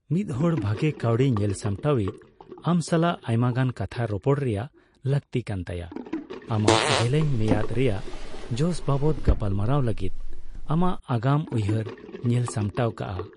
ᱢᱤᱫ ᱦᱚᱲ ᱵᱷᱟᱜᱮ ᱠᱟᱹᱣᱰᱤ ᱧᱮᱞ ᱥᱟᱢᱴᱟᱣᱤᱡ ᱟᱢ ᱥᱟᱞᱟᱜ ᱟᱭᱢᱟᱜᱟᱱ ᱠᱟᱛᱷᱟ ᱨᱚᱯᱚᱲ ᱨᱮᱭᱟᱜ ᱞᱟᱹᱠᱛᱤ ᱠᱟᱱᱛᱟᱭᱟ, ᱟᱢᱟᱜ ᱡᱮᱞᱮᱧ ᱢᱮᱭᱟᱫᱽ ᱨᱮᱭᱟᱜ ᱡᱚᱥ ᱵᱟᱵᱚᱛ ᱜᱟᱯᱟᱞᱢᱟᱨᱟᱣ ᱞᱟᱹᱜᱤᱫ ᱟᱢᱟᱜ ᱟᱜᱟᱢ ᱩᱭᱦᱟᱹᱨ ᱧᱮᱞᱥᱟᱢᱴᱟᱣ ᱠᱟᱜ᱾